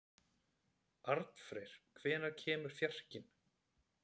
Arnfreyr, hvenær kemur fjarkinn?